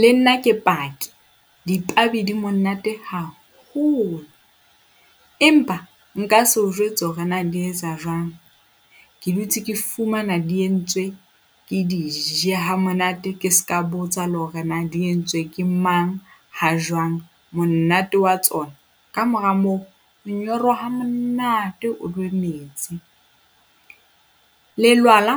Le nna ke paki, dipababi di monate haholo, empa nka se o jwetse hore na di etsa jwang. Ke dutse ke fumana di entswe ke di je ha monate, ke se ka botsa le hore na di entswe ke mang, ha jwang. Monate wa tsona, ka mora moo o nyorwa ha monate o nwe metsi. Lelwala,